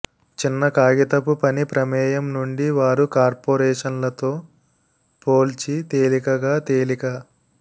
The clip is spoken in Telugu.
చిన్న కాగితపు పని ప్రమేయం నుండి వారు కార్పొరేషన్లతో పోల్చి తేలికగా తేలిక